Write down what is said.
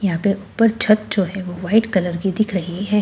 यहां पर ऊपर छत जो है वो वाइट कलर की दिख रही हैं।